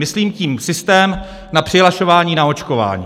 Myslím tím systém na přihlašování na očkování.